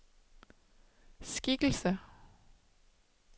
skikkelse